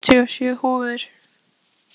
Úlfur, ég kom með áttatíu og sjö húfur!